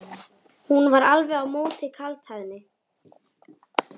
Hún var alveg á móti kaldhæðni.